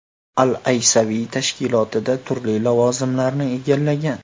Al-Aysaviy tashkilotda turli lavozimlarni egallagan.